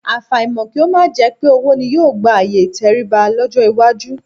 Àfàìmọ̀ kí ó má jẹ pé owó ni yóò gba ààyè ìtẹríba lọ́jọ́ iwájú